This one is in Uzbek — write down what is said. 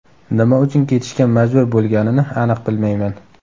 Nima uchun ketishga majbur bo‘lganini aniq bilmayman.